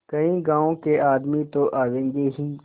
कई गाँव के आदमी तो आवेंगे ही